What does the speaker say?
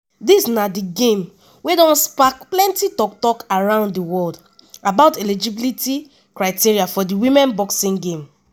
dis na di game wey don spark plenti tok-tok around di world about eligibility criteria for di women boxing game.